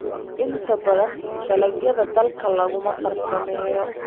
Inta badan dalagyada dalka laguma farsameeyo.